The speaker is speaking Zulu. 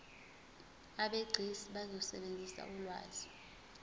abegcis bazosebenzisa ulwazi